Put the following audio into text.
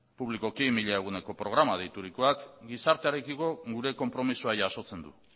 publikoki mila eguneko programa deiturikoa gizartearekiko gure konpromezua jasotzen du